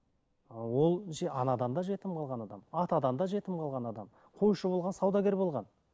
ы ол анадан да жетім қалған адам атадан да жетім қалған адам қойшы болған саудагер болған